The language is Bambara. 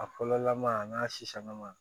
A fɔlɔlama a n'a sisanlama